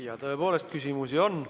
Ja tõepoolest, küsimusi on.